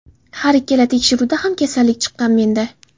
Har ikkala tekshiruvda ham kasallik chiqqan menda.